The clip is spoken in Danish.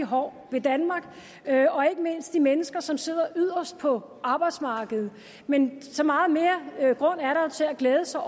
hård ved danmark og ikke mindst de mennesker som sidder yderst på arbejdsmarkedet men så meget mere grund er der til at glæde sig